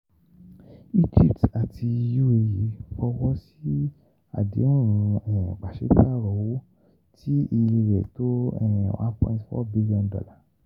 Egypt àti UAE fọwọ́ sí àdéhùn um pàṣípààrọ̀ owó tí iye rẹ̀ tó um one point four billion dollar